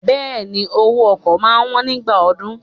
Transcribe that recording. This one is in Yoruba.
Bẹẹni, owó ọkọ̀ máa wón nígbà ọdún.